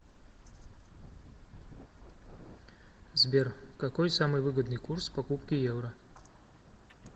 сбер какой самый выгодный курс покупки евро